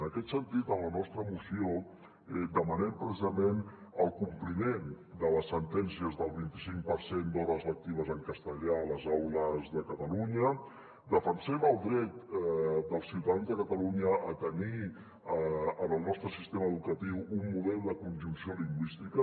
en aquest sentit en la nostra moció demanem precisament el compliment de les sentències del vint·i·cinc per cent d’hores lectives en castellà a les aules de catalu·nya defensem el dret dels ciutadans de catalunya a tenir en el nostre sistema educa·tiu un model de conjunció lingüística